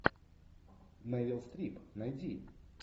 мерил стрип найди